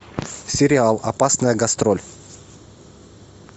сериал опасная гастроль